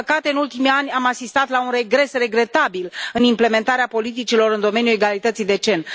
Din păcate, în ultimii ani, am asistat la un regres regretabil în implementarea politicilor în domeniul egalității de gen.